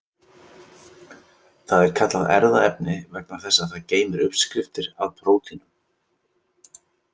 Það er kallað erfðaefni vegna þess að það geymir uppskriftir að prótínum.